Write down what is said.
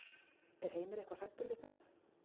Er Heimir eitthvað hræddur við það?